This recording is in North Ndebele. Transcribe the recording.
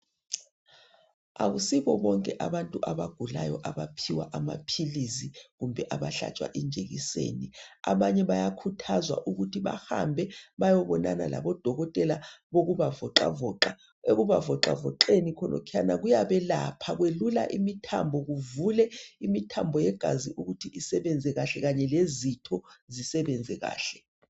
Asibo bonke abantu abagulayo abaphiwa amapills kumbe abahlatshwa ijekiseni abanye bayakhuthazwa ukuthi bahambe beyebonana labo dokotela wokubavoca voca ekubavoca voceni khonaphana kuyabe lapha kwelula imithambo ivule imithambo yegazi ukuthi isebenze kahle kanye lezitho zisebenze kahle